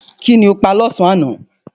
Kí ni o pa lọ́sàn-án aná?